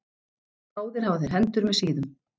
Báðir hafa þeir hendur með síðum.